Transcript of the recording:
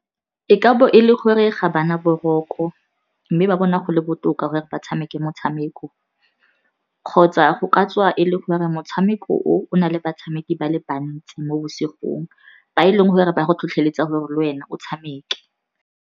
E ka bo e le gore ga bana boroko, mme ba bona go le botoka gore ba tshameke motshameko, kgotsa go ka tswa e le gore motshameko o o na le batshameki ba le bantsi mo bosigong, ba e leng gore ba go tlhotlhoeletsa gore le wena o tshameke.